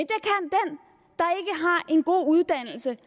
en god uddannelse